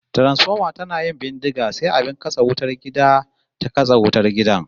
Transfoma tana yin bindiga sai abin katse wutar gida ta kashe wutar gidan